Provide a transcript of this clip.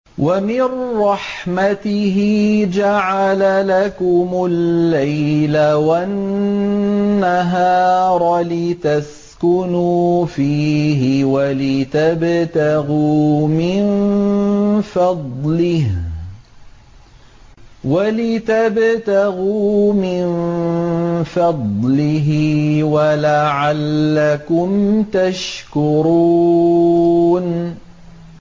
وَمِن رَّحْمَتِهِ جَعَلَ لَكُمُ اللَّيْلَ وَالنَّهَارَ لِتَسْكُنُوا فِيهِ وَلِتَبْتَغُوا مِن فَضْلِهِ وَلَعَلَّكُمْ تَشْكُرُونَ